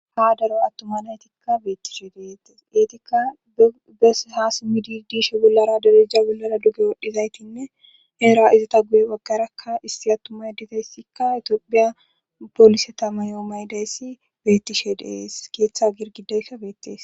Ha daro attuma naytikka beettishe deetes eetikka bes ha summidi diishe bollara darija bollara duge wodhizaytinne eera izata guye baggarakka issi attumay dizayssikka etiopiya polise tamayo maydayssi bettishe dees keeththa girgidayssa beettees.